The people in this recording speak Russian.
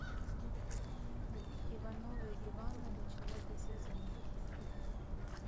ивановы ивановы четвертый сезон